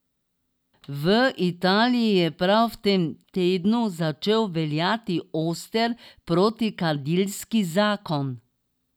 V Italiji je prav v tem tednu začel veljati oster protikadilski zakon.